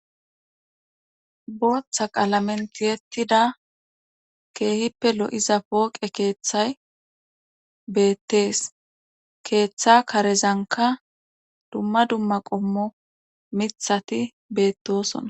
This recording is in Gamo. Booththa qaalamenti yettida keehippe lo'iza pooqe keeththay beettees keeththa karezanka dumma dumma qommo mithati beettosona.